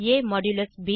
ab